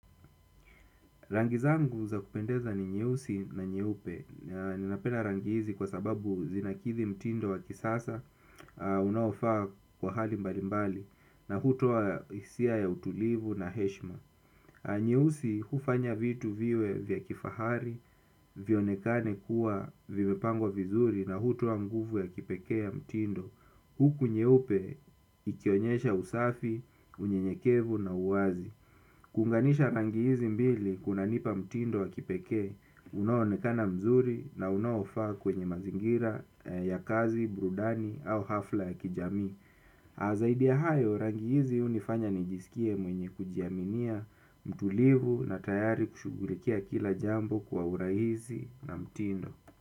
Rangi zangu, za kupendeza ni nyeusi na nyeupe. Ninapenda rangi hizi kwa sababu zinakithi mtindo wa kisasa, unaofaa kwa hali mbali mbali na hutoa hisia ya utulivu na heshma. Nyeusi, hufanya vitu viwe vya kifahari, vionekane kuwa vimepangwa vizuri na hutua nguvu ya kipekee ya mtindo. Huku, nyeupe ikionyesha usafi, unyenyekevu na uwazi. Ku unganisha rangi hizi mbili, kunanipa mtindo wa kipekee. Unaonekana mzuri na unaofaa kwenye mazingira ya kazi, burudani au hafla ya kijamii. Azaidi ya hayo, rangi hizi hunifanya nijisikie mwenye kujiaminia, mtulivu na tayari kushugulikia kila jambo kwa uraihisi na mtindo.